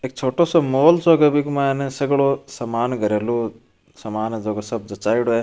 एक छोटो सो माल सो है बीके के मायने सगळो सामान घरेलू जको सब जचायेड़ो है।